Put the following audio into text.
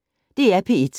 DR P1